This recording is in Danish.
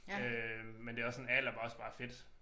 Øh men det også sådan alder hvor også bare fedt